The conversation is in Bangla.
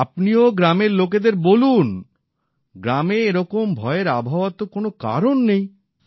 আপনিও গ্রামের লোকেদের বলুন গ্রামে এরকম ভয়ের আবহাওয়ার তো কোনো কারণ নেই